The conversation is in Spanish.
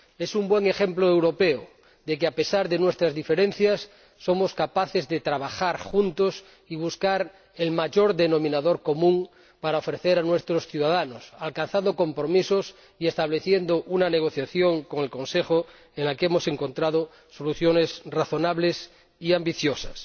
Es un buen ejemplo europeo de que, a pesar de nuestras diferencias, somos capaces de trabajar juntos y buscar el mayor denominador común para nuestros ciudadanos, alcanzando compromisos y estableciendo una negociación con el Consejo en la que hemos encontrado soluciones razonables y ambiciosas.